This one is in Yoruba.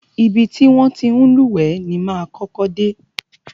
Ibi ti wọn ti ń lúwẹ̀ẹ́ ni máa kọ́kọ́ dé.